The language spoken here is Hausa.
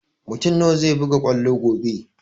Mutun nawa zai buga kwallo gobe?